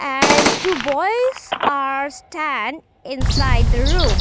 and two boys are stand inside the room.